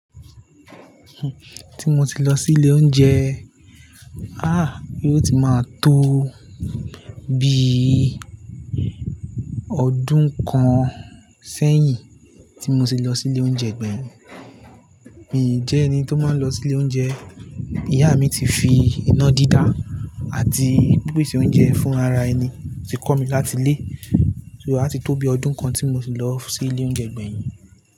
Tí mo ti lọ sí ilé oúnjẹ, àá yóò ti máa tó bi ọdún kan sẹ́yìn tí mo ti lọ sí ilé oúnjẹ gbẹ̀yìn. Mi jẹ́ ẹni tó máa ń lọ sí ilé oúnjẹ. Ìyá mi ti fi iná dídá àti ìpèsè oúnjẹ fún ara ẹni ti kọ́ mi láti ilé. So a ti tó bi ọdún kan tí mo ti lọ sí ilé oúnjẹ gbẹ̀yìn.